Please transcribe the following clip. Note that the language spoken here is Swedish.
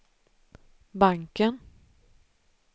banken